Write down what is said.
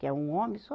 Que é um homem só.